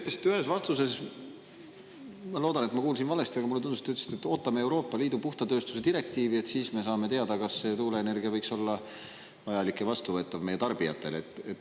Te ütlesite ühes vastuses – ma loodan, et ma kuulsin valesti, aga mulle tundus, et te ütlesite nii –, et ootame Euroopa Liidu puhta tööstuse direktiivi, sest siis me saame teada, kas tuuleenergia võiks olla vajalik ja vastuvõetav meie tarbijatele.